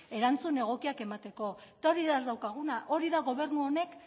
erantzun egokia emateko eta hori da ez daukaguna hori da gobernu honek